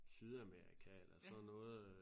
Sydamerika eller sådan noget øh